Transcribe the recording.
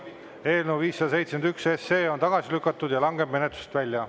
Eelnõu 571 on tagasi lükatud ja langeb menetlusest välja.